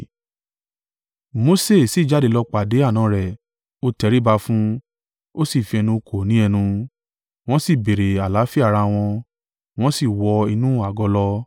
Mose sì jáde lọ pàdé àna rẹ̀, ó tẹríba fún un, ó sì fi ẹnu kò ó ni ẹnu. Wọ́n sì béèrè àlàáfíà ara wọn, wọ́n sì wọ inú àgọ́ lọ.